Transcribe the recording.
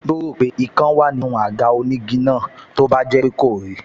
Yóò rò pé ikán wá nínú àga onígi náà tó bá jẹ́ pé kò rí i